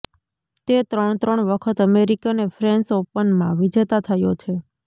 તે ત્રણ ત્રણ વખત અમેરિકી અને ફ્રેન્ચ ઓપનમાં વિજેતા થયો છે